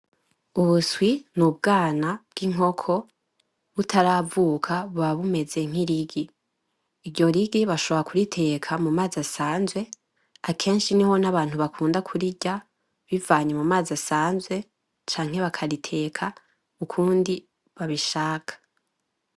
Ubuswi n'ubugana bw’inkoko butaravuka buba bumeze nk’irigi. Iryo rigi bashobora kuriteka mu mazi asanzwe, akenshi niho n’abantu bakunda kurirya bivanye mu mazi asanzwe canke bakariteka ukundi babishaka.